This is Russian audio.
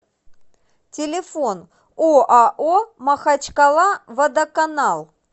телефон оао махачкалаводоканал